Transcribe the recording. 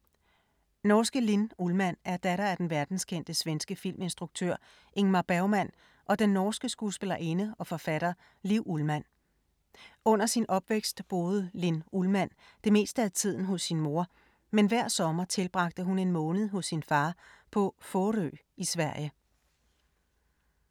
Norske Linn Ullmann er datter af den verdenskendte svenske filminstruktør Ingmar Bergmann og den norske skuespillerinde og forfatter Liv Ullmann. Under sin opvækst boede Linn Ullmann det meste af tiden hos sin mor, men hver sommer tilbragte hun en måned hos sin far på Fårö i Sverige.